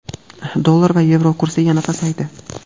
Dollar va yevro kursi yana pasaydi.